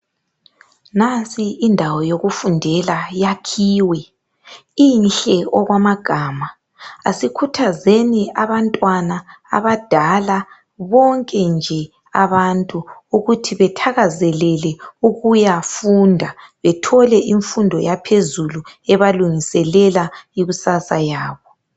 Nansi indawo yokufundela yakhiwe. Inhle okwamagama. Asikhuthazeni abantwana ,abadala ,bonke nje abantu ukuthi bethakazelele ukuyafunda bethole imfundo yaphezulu ebalungiselela ikusasa yabo.